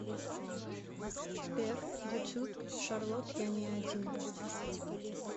сбер ютьюб шарлот я не один